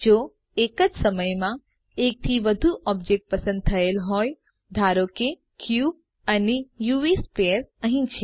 જો એક જ સમય માં એક થી વધુ ઑબ્જેક્ટ પસંદ થયેલ હોયધારો કે ક્યુબ અને યુવી સ્ફિયર અહી છે